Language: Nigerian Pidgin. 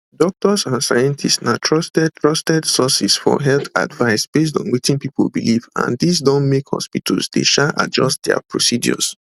doctors and scientists na trusted trusted sources for health advice based on wetin people believe and dis don make hospitals dey um adjust dia procedures